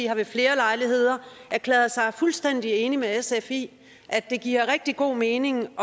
har ved flere lejligheder erklæret sig fuldstændig enig med sf i at det giver rigtig god mening